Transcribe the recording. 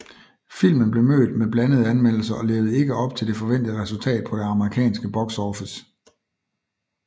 Filmen blev mødt med blandede anmeldelser og levede ikke op til det forventede resultat på den amerikanske box office